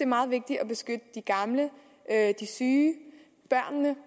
meget vigtigt at beskytte de gamle de syge børnene